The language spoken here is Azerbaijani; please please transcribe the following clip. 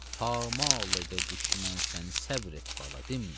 Pamal edə düşmən səni, səbr et, bala, dinmə.